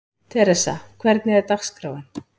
Theresa, hvernig er dagskráin?